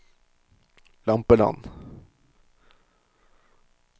Lampeland